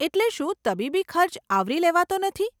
એટલે શું તબીબી ખર્ચ આવરી લેવાતો નથી?